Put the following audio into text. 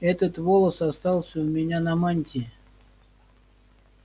этот волос остался у меня на мантии